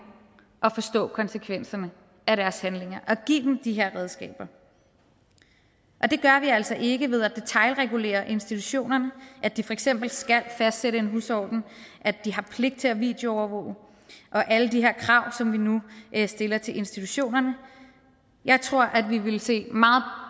at forstå konsekvenserne af deres handlinger og give dem de her redskaber det gør vi altså ikke ved at detailregulere institutionerne at de for eksempel skal fastsætte en husorden at de har pligt til at videoovervåge og alle de her krav som vi nu stiller til institutionerne jeg tror at vi vil se meget